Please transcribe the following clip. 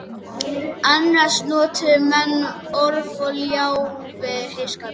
Annars notuðu menn orf og ljá við heyskapinn.